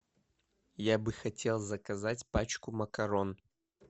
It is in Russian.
я бы хотел заказать пачку макарон